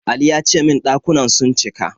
Ali ya ce min ɗakunan sun cika.